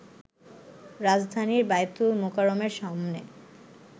রাজধানীর বায়তুল মোকাররমের সামনে